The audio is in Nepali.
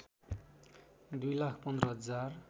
दुई लाख पन्ध्र हजार